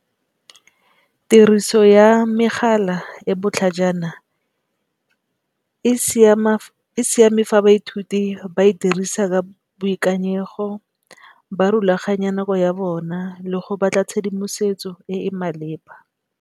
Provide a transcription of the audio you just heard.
Tiriso ya megala e botlhajana e siame fa baithuti ba e dirisa ka boikanyego, ba rulaganya nako ya bona le go batla tshedimosetso e e maleba.